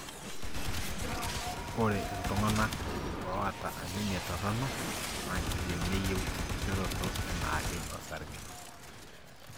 ore iltungana oata anemia torono na kindim neyieu enkishoroto enaake osarge.